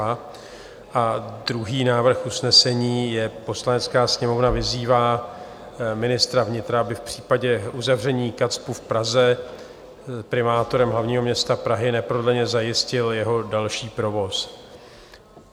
A druhý návrh usnesení je: "Poslanecká sněmovna vyzývá ministra vnitra, aby v případě uzavření KACPU v Praze primátorem hlavního města Prahy neprodleně zajistil jeho další provoz."